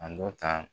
A dɔ ta